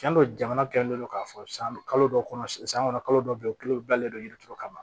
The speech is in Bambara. Cɛn do jamana kɛlen don k'a fɔ san kalo dɔ kɔnɔ san san kɔnɔ kalo dɔw bɛ yen u kulo dilanlen don yirituru kama